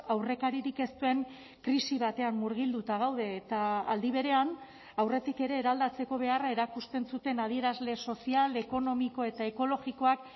aurrekaririk ez duen krisi batean murgilduta gaude eta aldi berean aurretik ere eraldatzeko beharra erakusten zuten adierazle sozial ekonomiko eta ekologikoak